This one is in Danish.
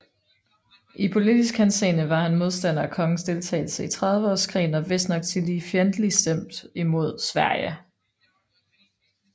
I politisk henseende var han en modstander af kongens deltagelse i trediveårskrigen og vistnok tillige fjendtlig stemt imod Sverige